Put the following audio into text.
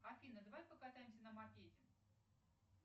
афина давай покатаемся на мопеде